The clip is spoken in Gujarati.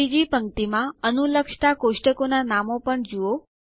ત્રીજી પંક્તિ માં અનુલક્ષતા ટેબલોના નામો પણ જુઓ